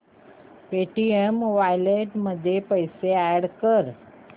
Paytm wallet मध्ये पैसे add कर